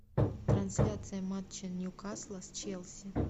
трансляция матча ньюкасла с челси